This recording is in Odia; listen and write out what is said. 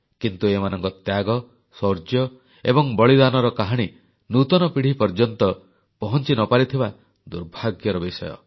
କିନ୍ତୁ ଏମାନଙ୍କ ତ୍ୟାଗ ଶୌର୍ଯ୍ୟ ଏବଂ ବଳିଦାନର କାହାଣୀ ନୂତନ ପିଢ଼ି ପର୍ଯ୍ୟନ୍ତ ପହଂଚି ନ ପାରିଥିବା ଦୁର୍ଭାଗ୍ୟର ବିଷୟ